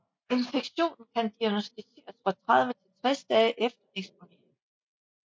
Infektionen kan diagnosticeres fra 30 til 60 dage efter eksponering